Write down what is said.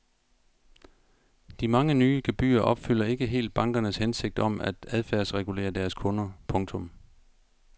De mange nye gebyrer opfylder ikke helt bankernes hensigt om at adfærdsregulere deres kunder. punktum